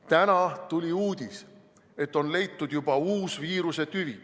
Täna tuli uudis, et on leitud juba uus viiruse tüvi.